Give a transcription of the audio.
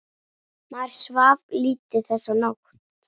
Maður svaf lítið þessa nótt.